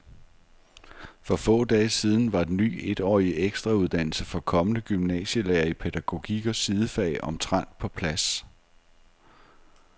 For få dage siden var den ny etårige ekstrauddannelse for kommende gymnasielærere i pædagogik og sidefag omtrent på plads.